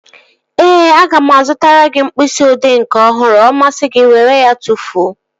Ee, aga m azụtara gị mkpịsị odee nke ọhụrụ. Ọ masị gị were ya tụfuo